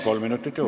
Palun!